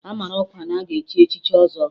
A mara ọkwa na-aga echi echichi ọzọ